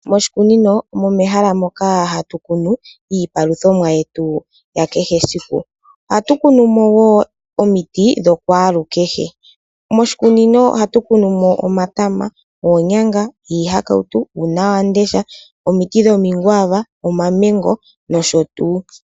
Mpsjikunino omo mehala moka hatu kunu iipaluthomwa yetu ya kehe esiku. Ohatu kunumo wo omiti dho kwalukehe. Moshikunino ohatu kunumo omatama, oonyanga, iihakautu, uunawamundesha, omiti dhomikwava, omamango nosho tuu.